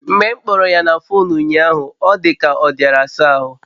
Mgbe m kpọrọ ya na fuunu unyahu ọ dika ọ diara asa ahụ